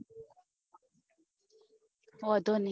ઓધો ની